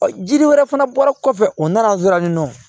Ɔ jiri wɛrɛ fana bɔra kɔfɛ u nana dɔrɔn